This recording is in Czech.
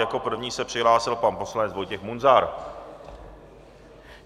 Jako první se přihlásil pan poslanec Vojtěch Munzar.